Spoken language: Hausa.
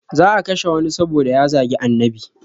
Za a kashe wani saboda ya zagi annabi